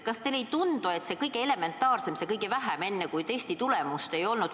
Kas teile ei tundu, et see kõige elementaarsem, see kõige väiksem asi, kui testi tulemust veel ei ole?